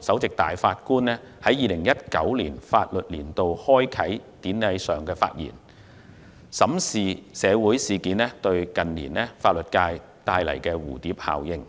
首席法官馬道立在2019年法律年度開啟典禮上的發言，審視社會事件近年對法律界帶來的蝴蝶效應。